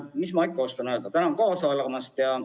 Mis ma ikka oskan öelda – tänan kaasa elamast!